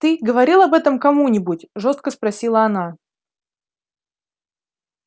ты говорил об этом кому-нибудь жёстко спросила она